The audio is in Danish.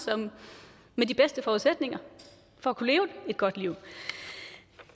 med de bedste forudsætninger for at kunne leve et godt liv